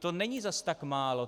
To není zas tak málo.